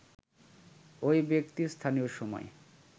ওই ব্যক্তি স্থানীয় সময়